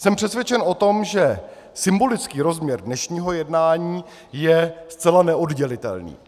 Jsem přesvědčen o tom, že symbolický rozměr dnešního jednání je zcela neoddělitelný.